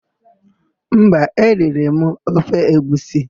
Mba, eriri m ofe egwusi.